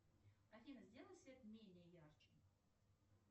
афина сделай свет менее ярче